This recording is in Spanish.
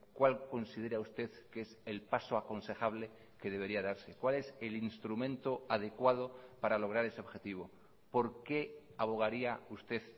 cuál considera usted que es el paso aconsejable que debería darse cuál es el instrumento adecuado para lograr ese objetivo por qué abogaría usted